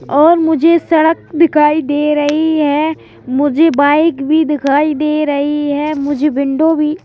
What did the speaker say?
और मुझे सड़क दिखाई दे रही है मुझे बाइक भी दिखाई दे रही है मुझे विंडो भी--